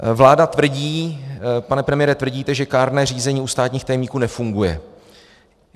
Vláda tvrdí, pane premiére, tvrdíte, že kárné řízení u státních tajemníků nefunguje.